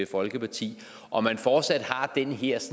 folkeparti om man fortsat har den her